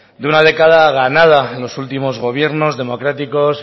de una década ganada en los últimos gobiernos democráticos